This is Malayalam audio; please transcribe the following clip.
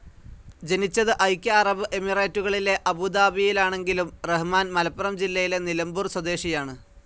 ജനിച്ചത് ഐക്യ അറബ് എമിറേറ്റുകളിലെ അബുദാബിയിലാണെങ്കിലും റഹ്മാൻ മലപ്പുറം ജില്ലയിലെ നിലമ്പൂർ സ്വദേശിയാണ്.